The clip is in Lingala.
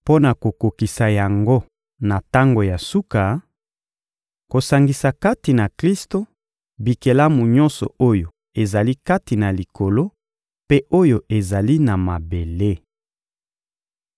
mpo na kokokisa yango na tango ya suka: kosangisa kati na Klisto bikelamu nyonso oyo ezali kati na Likolo mpe oyo ezali na mabele.